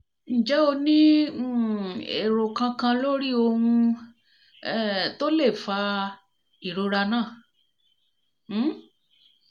ǹjẹ́ o ní um èrò kankan lórí ohun um to le fa ìrora náà? um